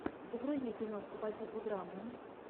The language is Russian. загрузи киношку по типу драмы